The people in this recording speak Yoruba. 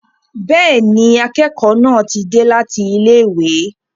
Bẹ́ẹ̀ni, akẹ́kọ̀ọ́ náà ti dé láti ilé ìwé.